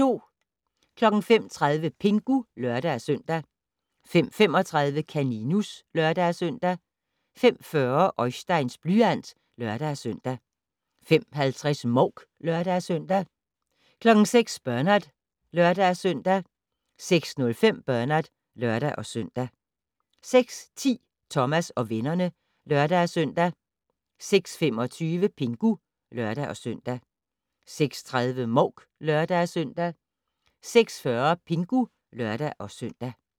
05:30: Pingu (lør-søn) 05:35: Kaninus (lør-søn) 05:40: Oisteins blyant (lør-søn) 05:50: Mouk (lør-søn) 06:00: Bernard (lør-søn) 06:05: Bernard (lør-søn) 06:10: Thomas og vennerne (lør-søn) 06:25: Pingu (lør-søn) 06:30: Mouk (lør-søn) 06:40: Pingu (lør-søn)